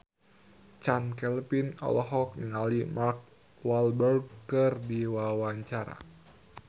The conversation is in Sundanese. Chand Kelvin olohok ningali Mark Walberg keur diwawancara